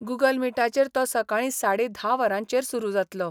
Google मिटाचेर तो सकाळी साडे धा वरांचेर सुरू जातलो.